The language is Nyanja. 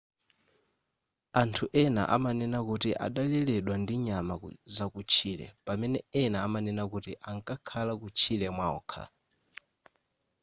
anthu ena amanena kuti adaleredwa ndi nyama zakutchire pamene ena amanena kuti ankakhala kutchire mwaokha